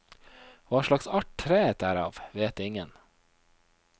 Hva slags art treet er av, vet ingen.